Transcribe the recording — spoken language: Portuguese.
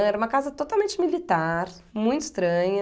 Era uma casa totalmente militar, muito estranha.